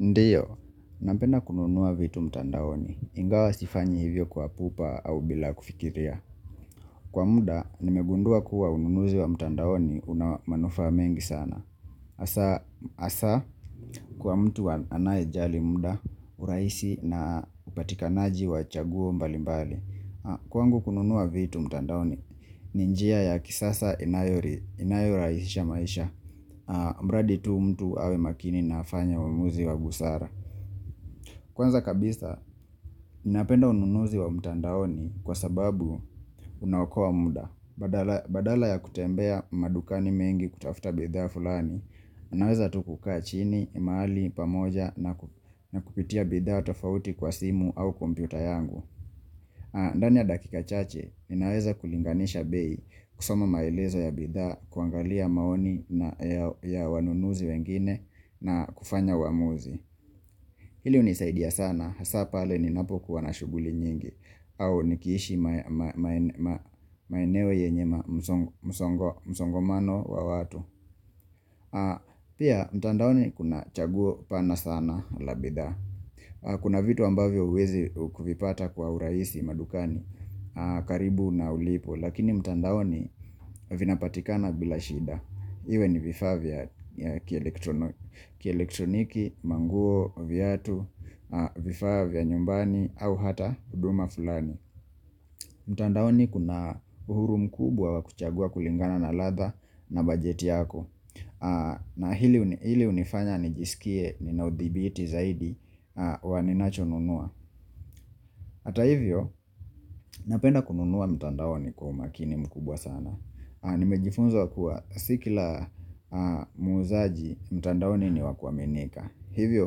Ndio, napenda kununua vitu mtandaoni, ingawa sifanyi hivyo kwa pupa au bila kufikiria Kwa muda, nimegundua kuwa ununuzi wa mtandaoni una manufaa mengi sana Asa, kwa mtu anayejali muda, urahisi na upatikanaji wa chaguo mbali mbali. Kwangu, kununua vitu mtandaoni, ni njia ya kisasa inayorahisisha maisha mradi tu mtu awe makini na afanye uamuzi wa busara Kwanza kabisa, ninapenda ununuzi wa mtandaoni kwa sababu unaokoa muda. Badala ya kutembea madukani mengi kutafuta bidhaa fulani, unaweza tu kukaa chini, mahali, pamoja na kupitia bidhaa tofauti kwa simu au kompyuta yangu. Ndani ya dakika chache, ninaweza kulinganisha bei, kusoma maelezo ya bidhaa, kuangalia maoni ya wanunuzi wengine na kufanya uamuzi. Hili unisaidia sana, hasa pale ni napokuwa na shughuli nyingi au nikiishi maeneo yenye msongamano wa watu Pia mtandaoni kuna chaguo pana sana la bidhaa. Kuna vitu ambavyo huwezi kuvipata kwa urahii madukani karibu na ulipo, lakini mtandaoni vinapatikana bila shida, iwe ni vifaa vya kielektroniki, manguo, viatu, vifaa vya nyumbani au hata huduma fulani. Mtandaoni kuna uhuru mkubwa wa kuchagua kulingana na ladha na bajeti yako na hili unifanya nijisikie nina udhibiti zaidi wa ninachonunua Hata hivyo napenda kununua mtandaoni kwa umakini mkubwa sana. Nimejifunza kuwa si kila muzaji mtandaoni ni wa kuaminika. Hivyo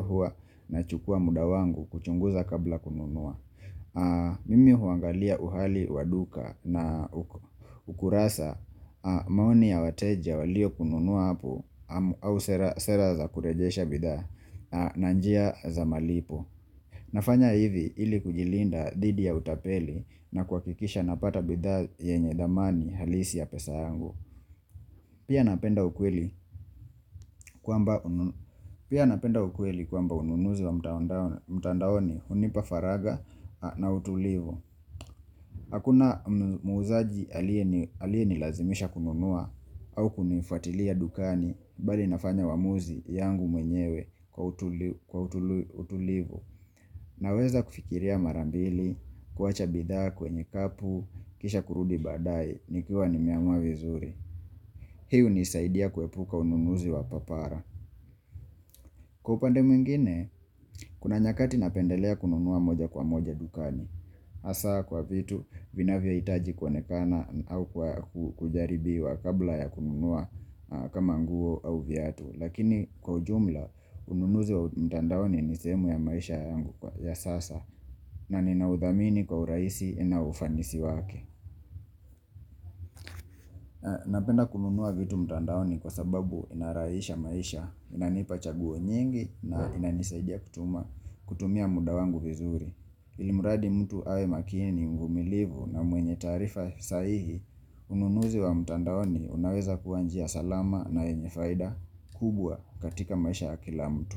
huwa nachukua muda wangu kuchunguza kabla kununua Mimi huangalia uhali wa duka na ukurasa maoni ya wateja walio kununua hapo au sera za kurejesha bidhaa na njia za malipo nafanya hivi ili kujilinda didhi ya utapeli na kuhakikisha napata bidha yenye dhamani halisi ya pesa yangu. Pia napenda ukweli kwamba ununuzi wa mtandaoni hunipa faraga na utulivu. Hakuna muzaji aliye nilazimisha kununua au kunifuatilia dukani bali nafanya uamuzi yangu mwenyewe kwa utulivu. Naweza kufikiria mara mbili, kuwacha bidhaa kwenye kapu, kisha kurudi baadaye, nikiwa nimeamua vizuri. Hii unisaidia kuepuka ununuzi wa papara. Kwa upande mwingine, kuna nyakati napendelea kununua moja kwa moja dukani. Asa kwa vitu vinavyo hitaji kuonekana au kujaribiwa kabla ya kununua kama nguo au viatu. Lakini kwa ujumla, ununuzi wa mtandaoni ni sehemu ya maisha yangu ya sasa na ninaudhamini kwa urahisi na ufanisi wake. Napenda kununua vitu mtandaoni kwa sababu inarahisha maisha, inanipa chaguo nyingi na inanisaidia kutumia muda wangu vizuri. Ilimradi mtu awe makini, mvumilivu na mwenye taarifa sahihi, ununuzi wa mtandaoni unaweza kuwa njia salama na yenye faida kubwa katika maisha ya kila mtu.